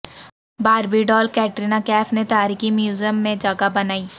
باربی doll Katrina Kaif نے تاریخی museum میں جگہ بنائی